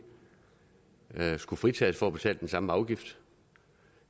skulle fritages for at betale den samme afgift